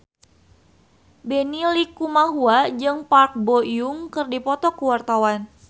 Benny Likumahua jeung Park Bo Yung keur dipoto ku wartawan